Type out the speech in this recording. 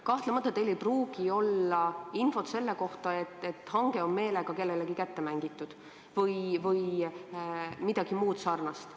Kahtlemata ei pruugi teil olla infot selle kohta, et hange on meelega kellelegi kätte mängitud või midagi muud sarnast.